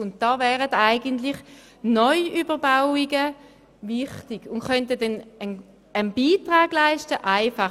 Und hier wären eben Neuüberbauungen wichtig und könnten auf einfache Weise einen Beitrag dazu leisten.